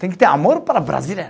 Tem que ter amor para brasileiro.